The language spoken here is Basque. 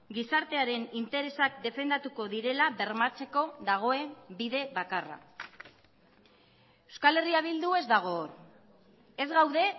gizartearen interesak defendatuko direla bermatzeko dagoen bide bakarra euskal herria bildu ez dago ez gaude